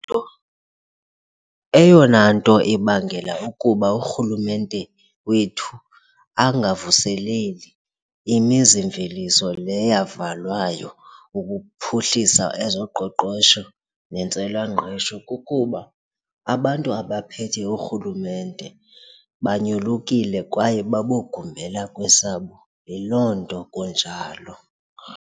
Eyona nto ibangela ukuba urhulumente wethu angavuseleli imizimveliso le yavalwayo ukuphuhlisa ezoqoqosho nentswelangqesho kukuba abantu abaphethe urhulumente banyolukile kwaye babogumbela kwesabo. Yiloo nto kunjalo.